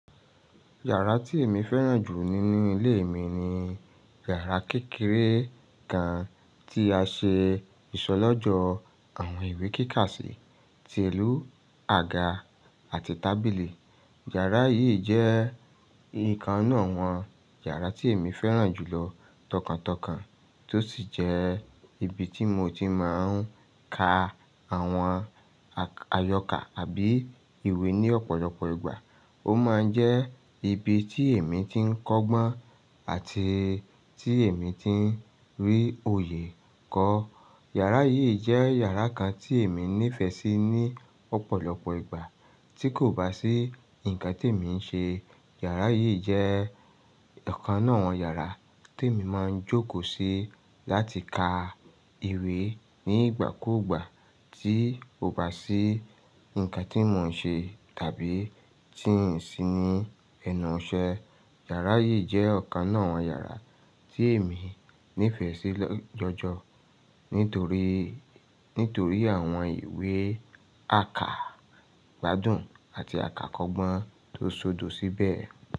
Yàrá tí èmi fẹ́ràn jù nínú ilé mi ni yàrá kékeré kan tí a ṣe ìṣọlọ́jọ àwọn ìwé kíkàsí, ti èlú àga àti tábìlì. Yàrá yìí jẹ́ ìkan ń'nú àwọn yàrá tí èmi fẹ́ràn jù lọ tọkàntọkàn tó sì jẹ́ ibi tí mo ti máa ń ka àwọn àyọkà àbí ìwé ní ọ̀pọ̀lọpọ̀ ìgbà. Ó máa ń jẹ́ ibi tí èmi ti ń kọ́gbọ́n àti tí èmi ti ń rí oyè kọ. Yàrá yìí jẹ́ yàrá kan tí èmi nífẹ̀ẹ́ sí ní ọ̀pọ̀lọpọ̀ ìgbà tí kò bá sí nǹkan tí èmi ń ṣe. Yàrá yìí jẹ́ ọ̀kan náà àwọn yàrá tí èmi máa ń jókòó sí láti ka ìwé ní ìgbàkúgbà tí kò bá sí nǹkan tí mò ń ṣe tàbí tí n sì ní ẹnu iṣẹ́. Yàrá yìí jẹ́ ọ̀kan náà àwọn yàrá tí èmi nífẹ̀ẹ́ sí jọjọ nítorí, nítorí àwọn ìwé àkàgbádùn àti àkàkọ́gbọ́n tó sódo síbẹ̀